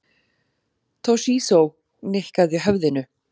Toshizo nikkaði höfðinu.